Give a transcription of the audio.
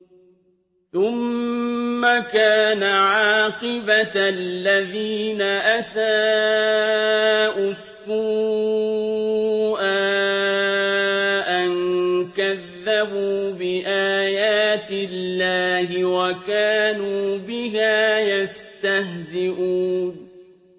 ثُمَّ كَانَ عَاقِبَةَ الَّذِينَ أَسَاءُوا السُّوأَىٰ أَن كَذَّبُوا بِآيَاتِ اللَّهِ وَكَانُوا بِهَا يَسْتَهْزِئُونَ